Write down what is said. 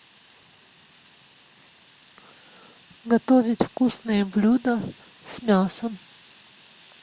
готовить вкусные блюда с мясом